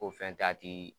O fɛn dati